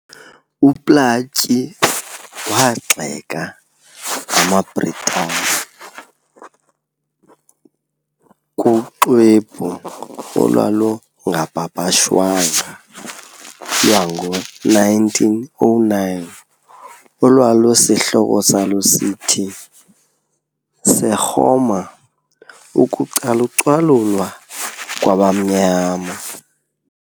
UPlaatje waawagxeka amaBritane kuxwebhu olwalungapapashwanga lwango-1909, olwalusihloko salo sithi,"Sekgoma - Ukucalucalulwa kwabamnyama."